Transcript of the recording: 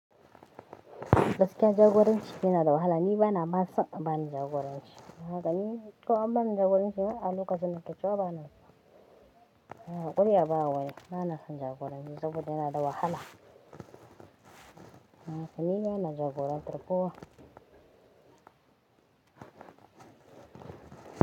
Gaskiya jagoranci yana da wahala. Ni bana ma son a bani jagoranci. Haka ni ko an ban jagoranci ayy a lokacin nake cewa bana so. Haka kuma ba waya. Bana son jagoranci saboda yana da wahala. Haka ni bana jagorantar kowa.